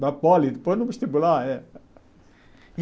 Da poli, depois no vestibular. Eh